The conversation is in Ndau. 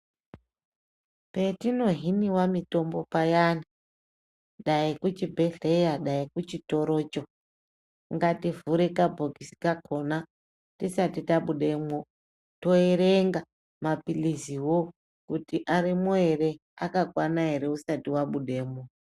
Patino hiniwa mutombo payani dai kuchibhedhlera dai kuchitoro cho ngativhure kabhokisi kakona tisati tabudemwo toerenga mapilizi wo kutu arimwo here akakwana here usati wabudemo.